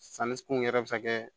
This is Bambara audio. Sanni kun yɛrɛ bɛ se ka kɛ